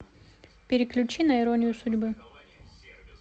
переключи на иронию судьбы